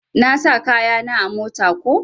Na sa kaya na a mota ko.